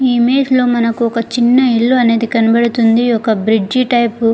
ఈ ఇమేజ్ లో మనకొక చిన్న ఇళ్ళనేది కనపడుతుంది ఒక బ్రిడ్జి టైపు --